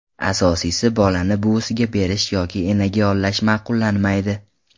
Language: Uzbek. Asosiysi, bolani buvisiga berish yoki enaga yollash ma’qullanmaydi.